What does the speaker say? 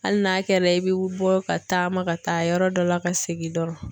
Hali n'a kɛra i bɛ bɔ ka taama ka taa yɔrɔ dɔ la ka segin dɔrɔn.